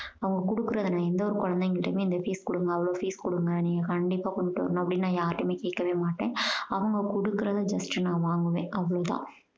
அவங்க கொடுக்கறத நான் எந்த ஒரு குழந்தைங்கக் கிட்டயுமே இவ்வளோ fees கொடுங்க அவ்வளோ fees கொடுங்க நீங்க கண்டிப்பா கொண்டுட்டு வரணும் அப்படீனெல்லாம் நான் யாருகிட்டயுமே கேட்கவே மாட்டேன். அவங்க கொடுக்கறத just நான் வாங்குவேன் அவ்வளோ தான்.